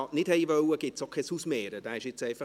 Ich habe innerlich schon wieder zu schwitzen begonnen.